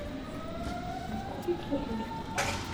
купить кефир